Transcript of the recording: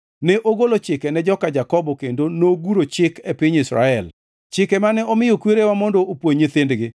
Ne ogolo chike ne joka Jakobo kendo noguro chik e piny Israel, chike mane omiyo kwerewa mondo opuonj nyithindgi,